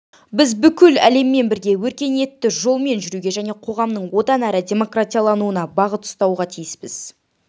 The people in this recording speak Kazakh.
біз бүкіл әлеммен бірге өркениетті жолмен жүруге және қоғамның одан әрі демократиялануына бағыт ұстауға тиіспіз